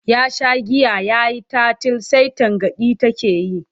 Ya sha giya ya yi tatil sai tangaɗi take yi.